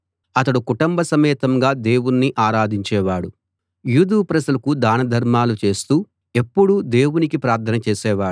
అతడు కుటుంబ సమేతంగా దేవుణ్ణి ఆరాధించేవాడు యూదు ప్రజలకు దానధర్మాలు చేస్తూ ఎప్పుడూ దేవునికి ప్రార్థన చేసేవాడు